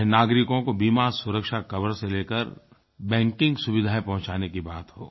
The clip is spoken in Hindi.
चाहे नागरिकों को बीमा सुरक्षा कवर से लेकर बैंकिंग सुविधायें पहुँचाने की बात हो